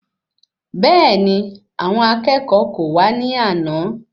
Bẹẹni, àwọn akẹ́kọ̀ọ́ kò wá ní àna